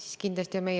Tänan küsimuse eest!